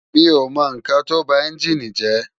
Mi ó mò n kán tó bá ènjini jè